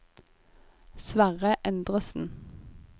Sverre Endresen